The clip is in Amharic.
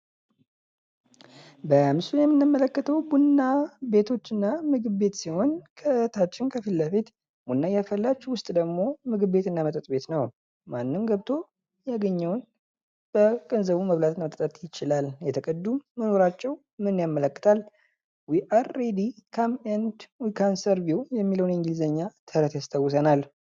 በምስሉ ላይ የምንመለከተው ቡና ቤቶችና ምግብ ቤት ሲሆን ከፊትለፍት ቡና እያፈላች፤ ውስጥ ደግሞ ቡና ቤትና መጠጥ ቤት ነው።